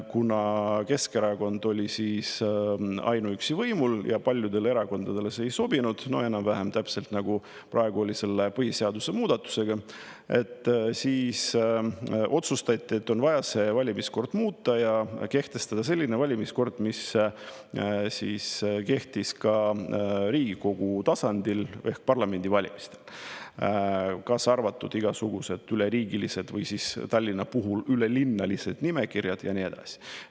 Kuna Keskerakond oli siis ainuüksi võimul ja paljudele erakondadele see ei sobinud – enam-vähem, nagu praegu oli selle põhiseaduse muudatusega –, siis otsustati, et on vaja valimiskorda muuta ja kehtestada selline valimiskord, mis kehtis ka Riigikogu tasandil – parlamendivalimistel, kaasa arvatud igasugused üleriigilised või Tallinna puhul ülelinnalised nimekirjad ja nii edasi.